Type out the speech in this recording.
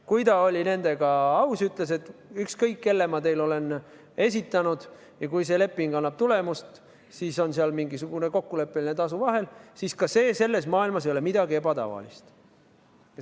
Kui ta oli nendega aus ja ütles, et ükskõik, kelle ma teile olen esitanud, kui see leping annab tulemust, siis on seal mingisugune kokkuleppeline tasu vahel – ka see ei ole selles maailmas midagi ebatavalist.